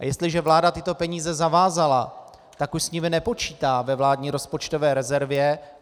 A jestliže vláda tyto peníze zavázala, tak už s nimi nepočítá ve vládní rozpočtové rezervě.